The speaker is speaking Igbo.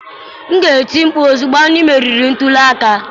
M ga-eti mkpu ozugbo anyị meriri ntuli aka